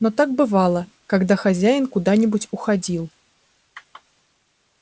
но так бывало когда хозяин куда нибудь уходил